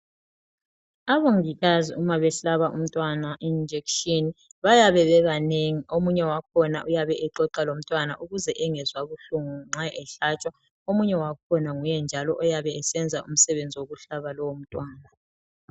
Abongikazi uma behlaba umntwana ijekiseni bayabe bebanengi. Omunye engomlibazisayo, exoxa laye. Ukuze angezwa ubuhlungu. Omunye, engumahlaba wakhona.